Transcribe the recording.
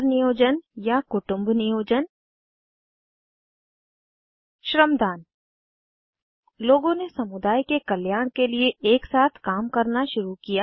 परिवार नियोजन या कुटुम्ब नियोजन श्रमदान लोगों ने समुदाय के कल्याण के लिए एक साथ काम करना शुरू किया